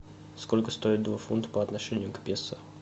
сколько стоит два фунта по отношению к песо